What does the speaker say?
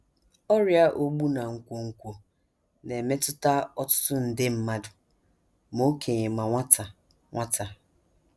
Ọrịa Ogbu na Nkwonkwo na - emetụta ọtụtụ nde mmadụ ma okenye ma nwata nwata.